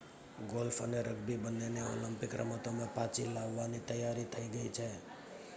golf અને rugby બન્નેને Olympic રમતોમાં પાચી લાવવાની તૈયારી થઈ ગઈ છે